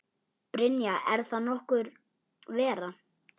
Brynja: Er það nokkuð verra?